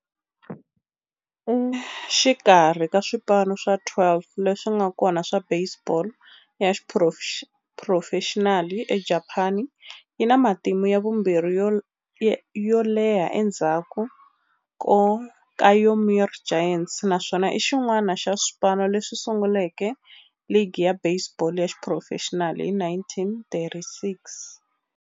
Exikarhi ka swipano swa 12 leswi nga kona swa baseball ya xiphurofexinali eJapani, yi na matimu ya vumbirhi yo leha endzhaku ka Yomiuri Giants, naswona i xin'wana xa swipano leswi sunguleke ligi ya baseball ya xiphurofexinali hi 1936.